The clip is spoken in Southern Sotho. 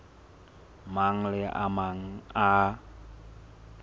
mang le a mang a